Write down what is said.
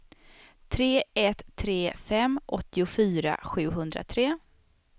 tre ett tre fem åttiofyra sjuhundratre